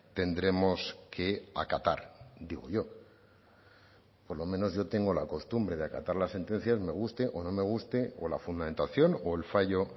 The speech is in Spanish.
tendremos que acatar digo yo por lo menos yo tengo la costumbre de acatar las sentencias me gusten o no me gusten o la fundamentación o el fallo